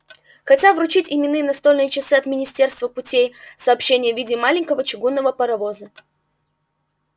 хотят вручить именные настольные часы от министерства путей сообщения в виде маленького чугунного паровоза